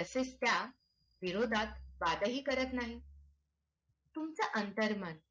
तसेच त्याविरोधात वाद ही करत नाही तुमच्या अंतर्मनात.